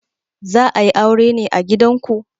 Za a yi aure ne a gidanku?